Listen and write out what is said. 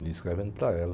E escrevendo para ela.